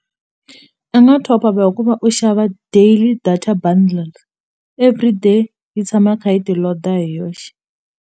I nga top up hi ku va u xava daily data bundles everyday yi tshama kha yi ti load-a hi yoxe.